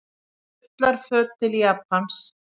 Ullarföt til Japans